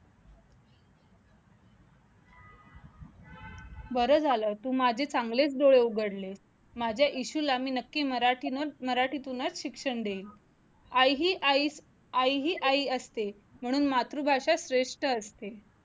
बरं झालं तू माझे चांगलेच डोळे उघडले माझे इशूला मी नक्की मराठीतूनच मराठीतूनच शिक्षण देईल आई ही आई, आई ही आई असते म्हणून मातृभाषा श्रेष्ठ असते